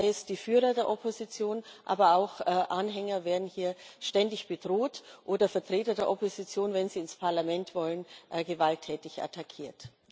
Seien es die Führer der Opposition, aber auch alle Anhänger, werden hier ständig bedroht, oder Vertreter der Opposition, wenn sie ins Parlament wollen, werden gewalttätig attackiert.